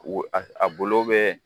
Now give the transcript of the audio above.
aa bolo